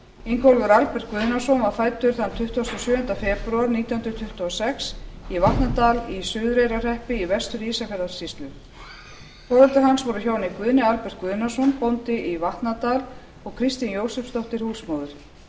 ingólfur albert guðnason var fæddur tuttugasta og sjöunda febrúar nítján hundruð tuttugu og sex í vatnadal í suðureyrarhreppi í vestur ísafjarðarsýslu foreldrar hans voru hjónin guðni albert guðnason bóndi í vatnadal og kristín jósepsdóttir húsmóðir